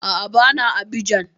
A'a, ba na Abidjan